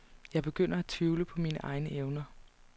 Jeg begynder at tvivle på mine egne evner.